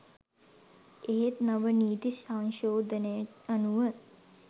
එහෙත් නව නීති සංශෝධනය අනුව